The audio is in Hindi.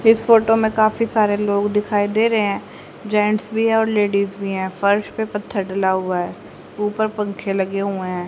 इस फोटो में काफी सारे लोग दिखाई दे रहे हैं जेंट्स भी है और लेडीज भी हैं फर्श पे पत्थर डला हुआ है ऊपर पंखे लगे हुए हैं।